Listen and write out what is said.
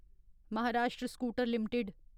Maharashtra Scooter limited